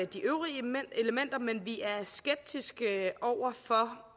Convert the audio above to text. de øvrige elementer men vi er skeptiske over for